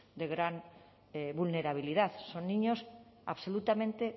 de gran vulnerabilidad son niños absolutamente